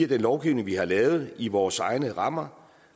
den lovgivning vi har lavet i vores egne rammer